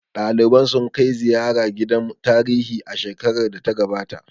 Ɗaliban sun kai ziyara gidan tarihi shekarar da ta gabata